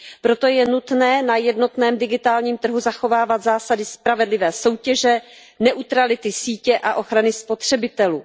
Proto je nutné na jednotném digitálním trhu zachovávat zásady spravedlivé soutěže, neutrality sítě a ochrany spotřebitelů.